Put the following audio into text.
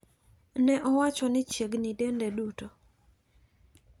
Ne owacho ni chiegni dende duto.